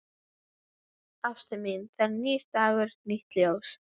Ástin mín, það er nýr dagur, nýtt ljós.